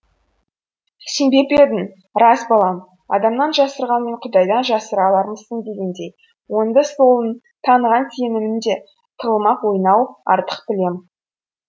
сенбеп едім рас балам адамнан жасырғанмен құдайдан жасыра алармысың дегендей оңды солын таныған сенімен де тығылмақ ойнау артық білем